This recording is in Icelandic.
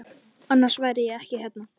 Annars væri ég ekki hérna.